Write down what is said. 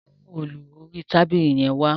Mú òòlù orí tábìlì yẹn wá